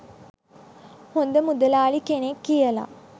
හොද මුදලාලි කෙනෙක් කියල.